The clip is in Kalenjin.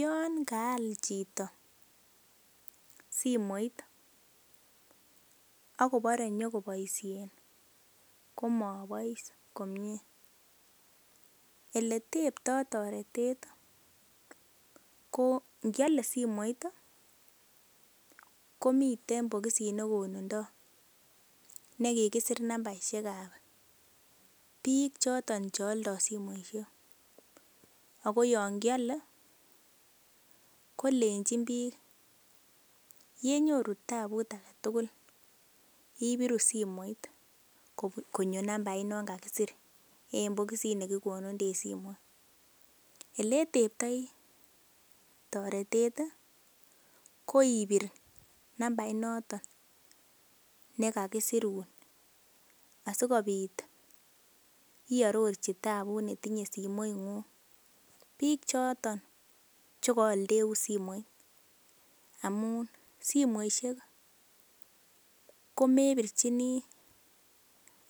Yon kaal chito simoit ak kobore nyokoboisien komabois komie, ele tebto toretet kogiale simoit komiten bogisit ne konundo ne kigisir nambaishek ab biik choton che oldo simoishek ago yon kiole kolenchin biik yenyoru tabut age tugul, ibiru simoit konye nambait nan kagisir en bogisit ab simoit. Ele iteptoi toretet koipir nambainoton ne kagisirun asikobit iororji tabut netinye simoing'ung biik choto che koaldeun simoit amun simoishek komepirchine